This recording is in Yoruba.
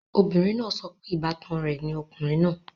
Obìnrin náà sọ pé ìbátan rẹ̀ ni ọkùnrin náà